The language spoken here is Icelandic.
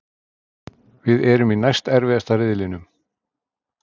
Við erum í næst erfiðasta riðlinum.